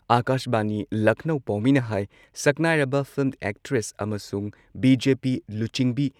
ꯑꯀꯥꯥꯁꯕꯥꯅꯤ ꯂꯈꯅꯧ ꯄꯥꯎꯃꯤꯅ ꯍꯥꯏ ꯁꯛꯅꯥꯏꯔꯕ ꯐꯤꯜꯝ ꯑꯦꯛꯇ꯭ꯔꯦꯁ ꯑꯃꯁꯨꯡ ꯕꯤ.ꯖꯦ.ꯄꯤ. ꯂꯨꯆꯤꯡꯕꯤ